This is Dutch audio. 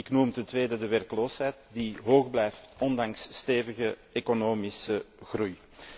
Ik noem ten tweede de werkloosheid, die hoog blijft ondanks stevige economische groei.